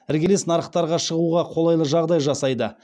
іргелес нарықтарға шығуға қолайлы жағдай жасайды